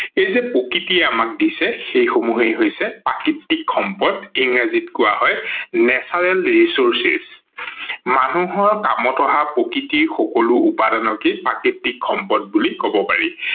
সেই যে প্ৰকৃতিয়ে আমাক দিছে সেই সমূহ হছে প্ৰাকৃতিক সম্পদ ইংৰাজীত কোৱা হয় natural resources মানুহৰ কামত অহা প্ৰকৃতিৰ উপাদানকে প্ৰাকৃতিক সম্পদ বুলি কব পাৰি।